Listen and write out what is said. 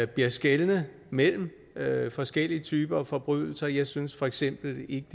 bliver skelnet mellem forskellige typer af forbrydelser jeg synes for eksempel ikke